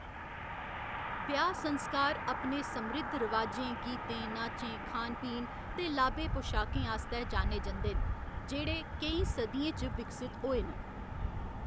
ब्याह्‌‌ संस्कार अपने समृद्ध रवाजें, गीतें, नाचें, खान पीन ते लाबे पशाकें आस्तै जाने जंदे न, जेह्‌‌ड़े केईं सदियें च विकसत होए न।